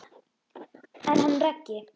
Hvað mörg tungl ellefu?